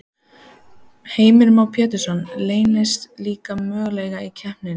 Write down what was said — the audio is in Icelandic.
Heimir Már Pétursson: Leynast líka möguleikar í kreppunni?